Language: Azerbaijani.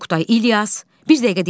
Oqtay, İlyas, bir dəqiqə dayanın.